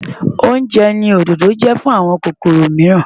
Oúnjẹ ni òdòdó jẹ́ fún àwọn kòkòrò mìíràn.